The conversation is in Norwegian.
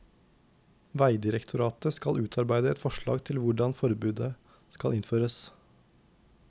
Vegdirektoratet skal utarbeide et forslag til hvordan forbudet skal innføres.